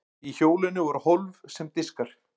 í hjólinu voru hólf sem diskar